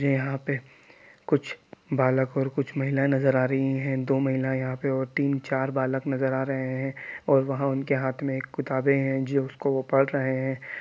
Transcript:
ये यहाँ पे कुछ बालक और कुछ महिलायें नज़र आ रही है दो महिला यहाँ पे और तीन चार बालक नज़र आ रहे है और वहाँ उनके हाथ में एक किताबे है जो उसको वो पढ़ रहे है।